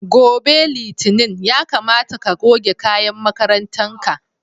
Gobe Litinin ya kamata ka goge kayan makarantan ka.